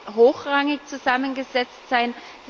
Wird sie hochrangig zusammengesetzt sein?